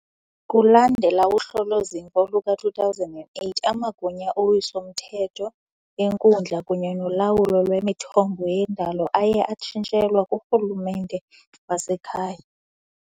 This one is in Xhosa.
Kulandela uhlolo-zimvo luka-2008, amagunya owiso-mthetho, enkundla kunye nolawulo lwemithombo yendalo aye atshintshelwa kurhulumente wasekhaya .